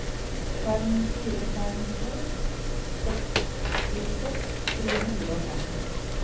fem fire fem to sekstiseks tre hundre og fem